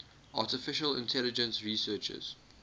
artificial intelligence researchers